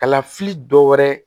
Kalafili dɔ wɛrɛ